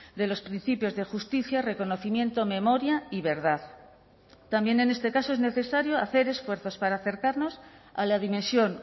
de los principios de justicia reconocimiento memoria y verdad también en este caso es necesario hacer esfuerzos para acercarnos a la dimensión